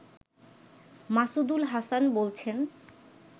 মাসুদুল হাসান বলছেন